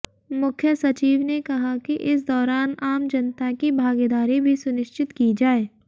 मुख्य सचिव ने कहा कि इस दौरान आम जनता की भागीदारी भी सुनिश्चित की जाए